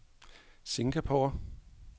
Singapore